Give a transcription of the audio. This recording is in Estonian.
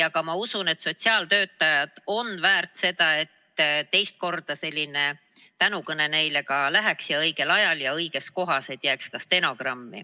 Aga ma usun, et sotsiaaltöötajad on väärt, et neile ka teist korda selline tänukõne peetaks ja et õigel ajal ja õiges kohas, nii et see jääks ka stenogrammi.